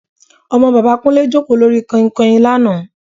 Ọmọ bàbá Kúnlé jókòó lórí Kanhinkanhin lánàá